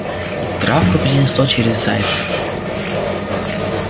и травку перенесло через зайца